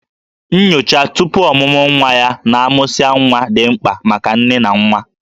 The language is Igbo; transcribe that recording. Nyocha tupu ọmụmụ nwa ya na a mụsịa nwa dị mkpa maka nne na nwa